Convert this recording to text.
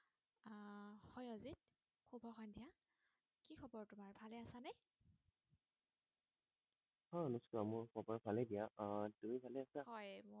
অ অনুষ্কা মোৰ খবৰ ভালেই দিয়া আহ তুমি ভালেই আছা হয়